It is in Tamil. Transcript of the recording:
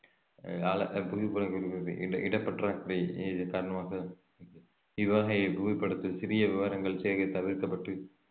இட~ இடப்பற்றாக்குறையின் காரணமாக இவ்வகை புவிப்படத்தில் சிறிய விவரங்கள் சேவை தவிர்க்கப்பட்டு